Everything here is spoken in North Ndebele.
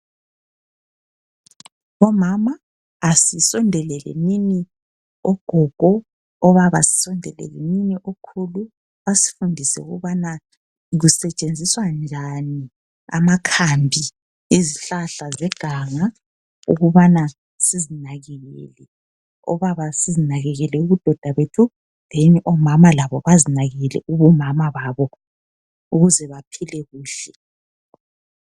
Omama asisondeleleni ogogo, obaba sisondeleleni okhulu basifundise ukubana kusetshenziswa njani amakhambi ezihlahla zeganga ukubana sizinakekele. Obaba sizinakekele ubudoda bethu, then omama labo bazinakekele ubumama babo ukuze baphile kuhle .